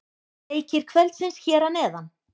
Leikir kvöldsins hér að neðan: